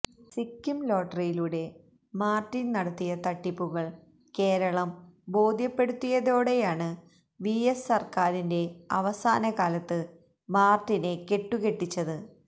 സിക്കിം ലോട്ടറിയിലൂടെ മാർട്ടിൻ നടത്തിയ തട്ടിപ്പുകൾ കേരളം ബോധ്യപ്പെടുത്തിയതോടെയാണ് വി എസ് സർക്കാരിന്റെ അവസാന കാലത്ത് മാർട്ടിനെ കെട്ടുകെട്ടിച്ചത്